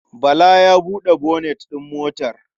Bala ya buɗe bonet ɗin motar.